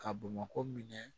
Ka bamakɔ minɛ